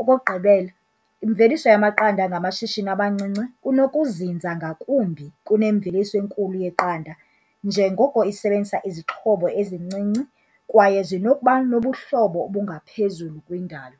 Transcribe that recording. Okokugqibela, imveliso yamaqanda ngamashishini amancinci kunokuzinza ngakumbi kunemveliso enkulu yeqanda njengoko isebenzisa izixhobo ezincinci kwaye zinokuba nobuhlobo obungaphezulu kwindalo.